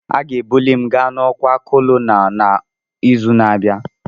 Aga-ebuli m ga n'ọkwa Kolonel n'izu na-abịa